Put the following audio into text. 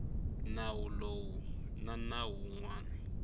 nawu lowu na nawu wun